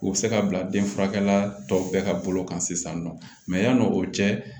U bɛ se ka bila denfurakɛ la tɔw bɛɛ ka bolo kan sisan nɔ yann'o cɛ